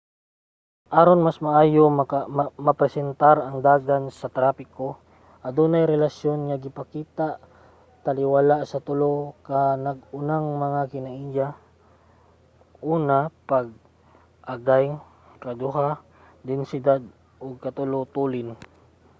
aron mas maayo nga mapresentar ang dagan sa trapiko adunay relasyon nga gipakita taliwala sa tulo ka nag-unang mga kinaiya: 1 pag-agay 2 densidad ug 3 tulin